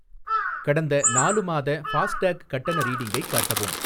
கடந்த நாலு மாத ஃபாஸ்டேக் கட்டண ரீடிங்கை காட்டவும்.